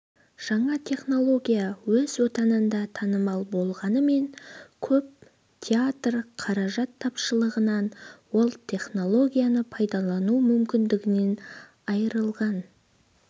жаңа технология өз отанында танымал болғанымен көп театрлар қаражат тапшылығынан ол технологияны пайдалану мүмкіндігінен айырылған